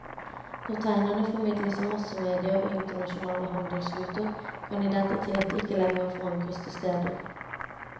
Når tegnene formidles av massemedier og internasjonale handelsruter, kan identitet ikke lenger forankres til steder.